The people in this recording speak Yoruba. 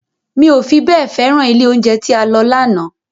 Mi ò fi bẹ́ẹ̀ féràn ilé oúnjẹ tí a lọ lánàá